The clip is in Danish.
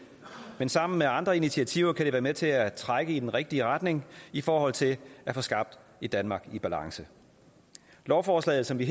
men sammen med andre initiativer kan det være med til at trække i den rigtige retning i forhold til at få skabt et danmark i balance lovforslaget som vi